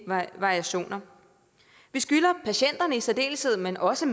variationer vi skylder patienterne i særdeleshed men også